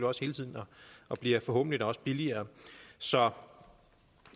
også hele tiden og bliver forhåbentlig da også billigere så